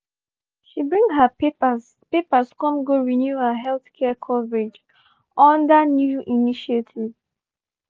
she bring her papers papers come go renew her healthcare coverage under new initiative.